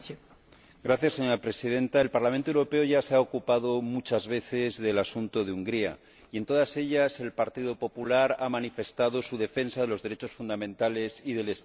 Señora Presidenta, el Parlamento Europeo ya se ha ocupado muchas veces del asunto de Hungría y, en todas ellas, el Partido Popular Europeo ha manifestado su defensa de los derechos fundamentales y del Estado de Derecho.